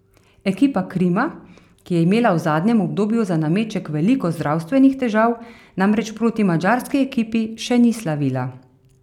Ekipa Krima, ki je imela v zadnjem obdobju za nameček veliko zdravstvenih težav, namreč proti madžarski ekipi še ni slavila.